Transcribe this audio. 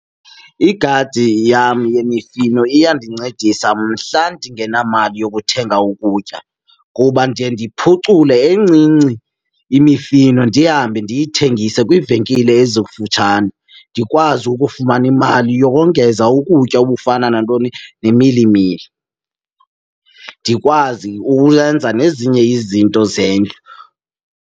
Igadi yam yemifino iyandincedisa mhla ndingenamali yokuthenga ukutya kuba ndiye ndiphucule encinci imifino ndihambe ndiyithengise kwiivenkile ezikufutshane, ndikwazi ukufumana imali yokongeza ukutya. Okufana nantoni? Nemilimili. Ndikwazi ukwenza nezinye izinto zendlu.